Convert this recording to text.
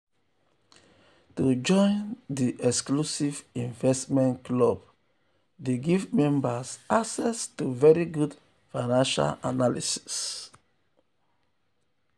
to join um di exclusive investment club dey give membas access um to very good financial analysis.